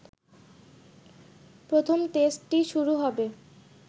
প্রথম টেস্টটি শুরু হবে